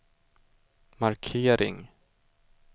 markering